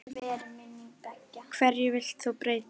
Hverju vilt þú breyta?